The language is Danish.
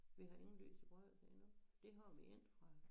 Vi har ingen lys i bryggerset endnu det har vi inde fra